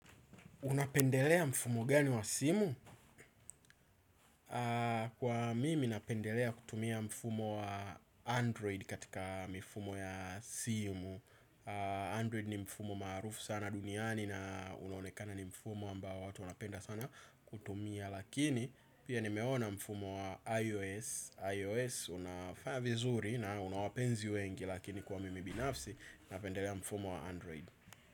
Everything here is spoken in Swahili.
Unapendelea mfumo gani wa simu? Kwa mimi napendelea kutumia mfumo wa Android katika mifumo ya simu. Android ni mfumo marufu sana duniani na unaonekana ni mfumo ambao watu wnapenda sana kutumia, lakini pia nimeona mfumo wa iOS. iOS unafaya vizuri na una wapenzi wengi lakini kwa mimi binafsi napendelea mfumo wa Android.